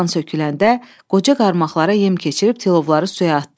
Dan söküləndə qoca qarmaqlara yem keçirib tilovları suya atdı.